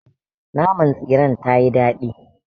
Naman tsiren tayii daɗi.